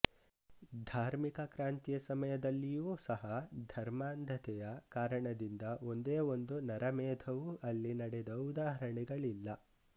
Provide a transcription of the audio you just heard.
ಧಾರ್ಮಿಕ ಕ್ರಾಂತಿಯ ಸಮಯದಲ್ಲಿಯೂ ಸಹ ಧರ್ಮಾಂಧತೆಯ ಕಾರಣದಿಂದ ಒಂದೇ ಒಂದು ನರಮೇಧವೂ ಅಲ್ಲಿ ನಡೆದ ಉದಾಹರಣೆಗಳಿಲ್ಲ